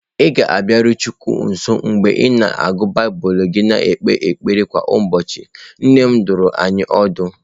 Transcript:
Ị ga-abịarukwu Chineke nso mgbe ị na-agụ Baịbụl gị na-ekpekwa ekpere kwa ụbọchị, nne m dụrụ anyị ọdụ